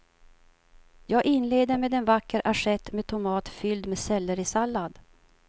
Jag inleder med en vacker assiett med tomat fylld med sellerisallad.